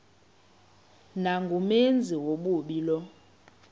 nangumenzi wobubi lowo